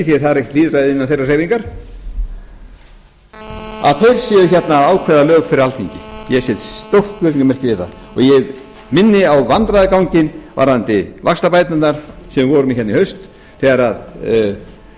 það er ekkert lýðræði innan þeirra hreyfingar ákveði hér lög fyrir alþingi ég set stórt spurningarmerki við það og minni á vandræðaganginn varðandi vaxtabæturnar sem við